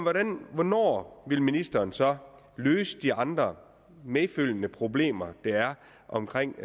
hvornår vil ministeren så løse de andre medfølgende problemer der er omkring